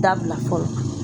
Dabila fɔlɔ